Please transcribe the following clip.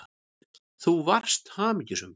Þú varst hamingjusöm.